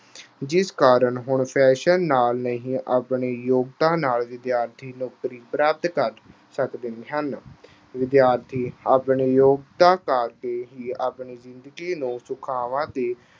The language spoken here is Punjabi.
ਜਿਸ ਕਾਰਨ ਹੁਣ fashion ਨਾਲ ਨਹੀਂ, ਆਪਣੀ ਯੋਗਤਾ ਨਾਲ ਵਿਦਿਆਰਥੀ, ਨੌਕਰੀ ਪ੍ਰਾਪਤ ਕਰ ਸਕਦੇ ਹਨ। ਵਿਦਿਆਰਥੀ ਆਪਣੀ ਯੋਗਤਾ ਕਰਕੇ ਹੀ ਆਪਣੀ ਜ਼ਿੰਦਗੀ ਨੂੰ ਸੁਖਾਵਾਂ ਤੇ